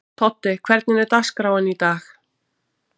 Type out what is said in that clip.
Toddi, hvernig er dagskráin í dag?